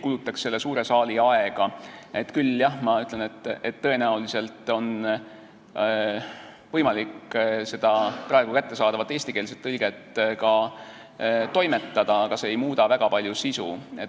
Küll aga jah, ma ütlen, et tõenäoliselt on võimalik seda praegu kättesaadavat eestikeelset tõlget ka toimetada, aga see ei muuda väga palju sisu.